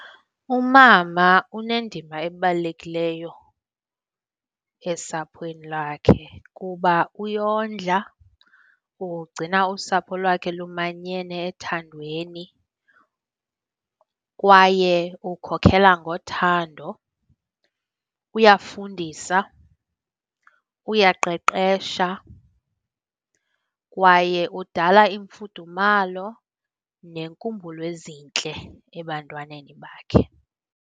Umama unendima ebalulekileyo esaphweni lakhe kuba uyondla, ugcina usapho lwakhe lumanyene ethandweni kwaye ukhokhela ngothando, uyafundisa, uyaqeqesha kwaye udala imfudumalo neenkumbulo ezintle ebantwaneni bakhe.